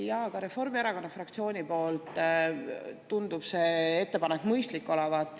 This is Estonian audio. Jaa, ka Reformierakonna fraktsioonile tundub see ettepanek mõistlik olevat.